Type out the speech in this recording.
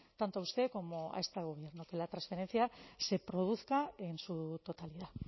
tanto a usted como a este gobierno que la transferencia se produzca en su totalidad